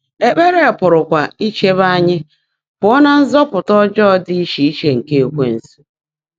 Ékpèré pụ́rụ́kwá ícheèbé ányị́ pụ́ọ́ ná “nzúpụtá ọ́jọ́ọ́ ḍị́ íchè íche nkè Ékwénsu.”